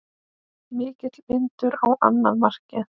Mikill vindur á annað markið.